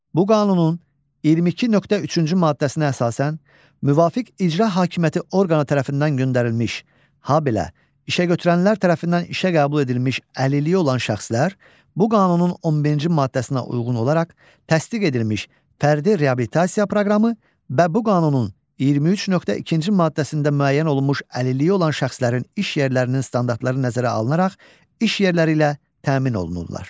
Bu qanunun 22.3-cü maddəsinə əsasən müvafiq icra hakimiyyəti orqanı tərəfindən göndərilmiş, habelə işəgötürənlər tərəfindən işə qəbul edilmiş əlilliyi olan şəxslər, bu qanunun 11-ci maddəsinə uyğun olaraq təsdiq edilmiş fərdi reabilitasiya proqramı və bu qanunun 23.2-ci maddəsində müəyyən olunmuş əlilliyi olan şəxslərin iş yerlərinin standartları nəzərə alınaraq iş yerləri ilə təmin olunurlar.